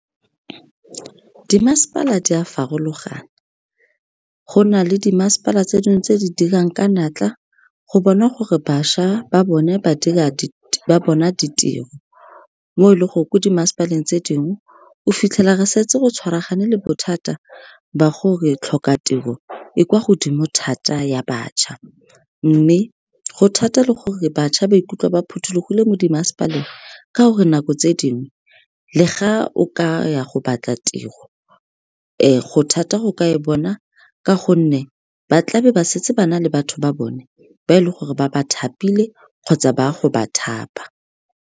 Di mmasepala di a farologana, go na le di masepala tse dingwe tse di dirang ka natla, go bona gore bašwa ba bone ba bona ditiro. Mo e leng gore, ko di mmasepaleng tse dingwe, o fitlhela re setse go tshwaragane le bothata ba gore tlhoka tiro, e kwa godimo thata, ya bašwa. Mme, go thata le gore bašwa ba ikutlwa ba phothulogile mo di mmasepaleng ka gore, nako tse dingwe le ga o ka ya go batla tiro, go thata go ka e bona, ka gonne ba tlabe ba setse ba na le batho ba bone, ba e leng gore ba ba thapile kgotsa ba go ba thapa.